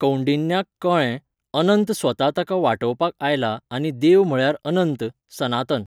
कौंडिन्याक कळ्ळें, अनंत स्वता ताका वाटावपाक आयला आनी देव म्हळ्यार अनंत, सनातन.